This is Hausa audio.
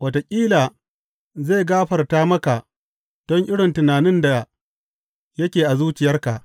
Wataƙila zai gafarta maka don irin tunanin da yake a zuciyarka.